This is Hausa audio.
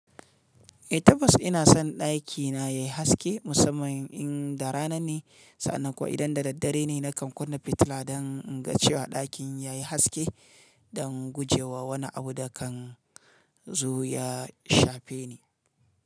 Eh tabbas ina son ɗakina yayi haske musamman in da rana ne, sannan kuwa idan da daddare ne na kan kunna fitila dan inga cewa ɗakin ya yi haske don gujewa wani abu da kan zu ya shafe ni.